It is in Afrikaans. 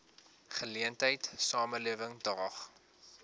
geleentheid samelewing daag